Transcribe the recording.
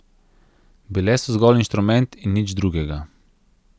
Bile so zgolj inštrument in nič drugega.